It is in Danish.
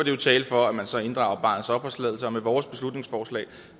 jo tale for at man så inddrager barnets opholdstilladelse og med vores beslutningsforslag